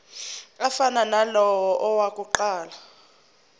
afana nalawo awokuqala